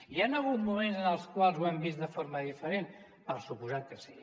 hi han moments en els quals ho hem vist de forma diferent per descomptat que sí